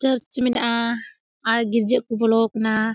चार्ज मीना आइग जे उगलोग ना।